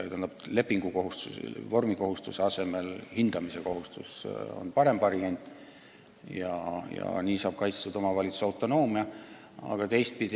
Tähendab, kohustuslikus vormis lepingu asemel hindamise kohustus on parem variant, sest nii on omavalitsuse autonoomia kaitstud.